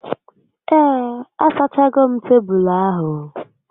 Ee, a sachago m tebulu ahu